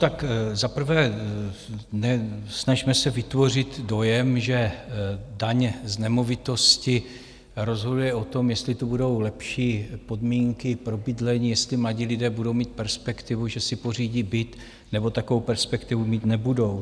Tak za prvé, nesnažme se vytvořit dojem, že daň z nemovitosti rozhoduje o tom, jestli tu budou lepší podmínky pro bydlení, jestli mladí lidé budou mít perspektivu, že si pořídí byt, nebo takovou perspektivu mít nebudou.